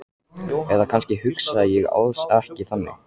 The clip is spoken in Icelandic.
Eða kannski hugsaði ég alls ekki þannig.